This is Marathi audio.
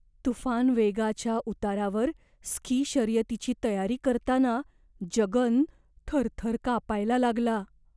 तुफान वेगाच्या उतारावर स्की शर्यतीची तयारी करताना जगन थरथर कापायला लागला.